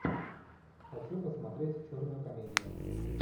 хочу посмотреть черную комедию